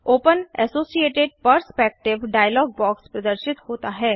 open associated perspective dialogue box प्रदर्शित होता है